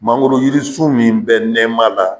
Mangoro yirisu min bɛ nɛma la